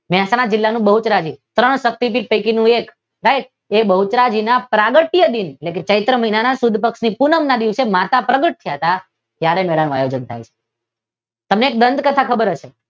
મહેસાણા જિલ્લા નું બહુચરાજી ત્રણ શક્તીપીઠ પૈકી નું એક એ સાહેબ એ બહુચરાજીના પ્રાગટ્ય દીન એટલેકે ચૈત્ર મહિના સુદ પક્ષ ની પૂનમ ના દીવસે માતા પ્રગત થયા હતા ત્યારે મેળાનું આયોજન થાય છે તમને એક દાંત કથા ખબર હશે.